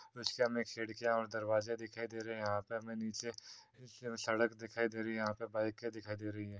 में खिड़कियां और दरवाजे दिखाई दे रहे हैं | यहाँ पे हमें नीचे सड़क दिखाई दे रही हैं| यहाँ पे बाइकें दिखाई दे रहीं हैं |